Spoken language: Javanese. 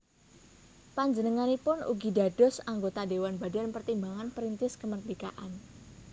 Panjenenganipun ugi dados anggota Dhéwan Badan Pertimbangan Perintis Kemerdekaan